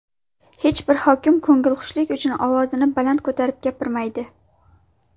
Hech bir hokim ko‘ngilxushlik uchun ovozini baland ko‘tarib gapirmaydi.